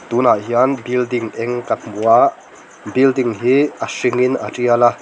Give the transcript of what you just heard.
tunah hian building eng kan hmu a building hi a hringin a tial a.